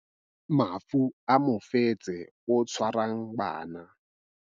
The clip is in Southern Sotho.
Mafu a mofetshe o tshwarang bana.